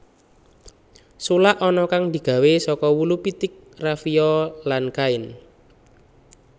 Sulak ana kang digawé saka wulu pitik rafiya lan kain